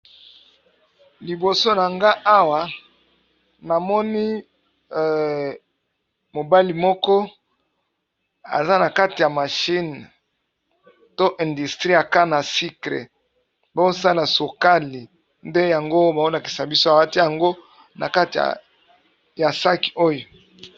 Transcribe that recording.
Liboso na nga awa namoni mobali moko eza na kati ya mashine to industrie aka na sykre bosala sokali nde yango bamonakisa biso abati yango na kati ya saki oyo.